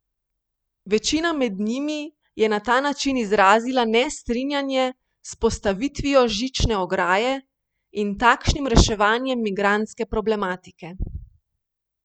Večina med njimi je na ta način izrazila nestrinjanje s postavitvijo žične ograje in takšnim reševanjem migrantske problematike.